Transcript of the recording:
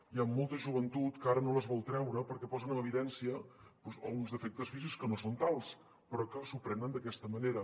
hi ha molta joventut que ara no se les volen treure perquè posen en evidència doncs alguns defectes físics que no són tals però que se’ls prenen d’aquesta manera